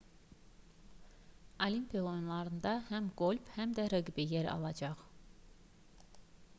olimpiya oyunlarında həm qolf həm də reqbi yer alacaq